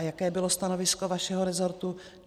A jaké bylo stanovisko vašeho resortu?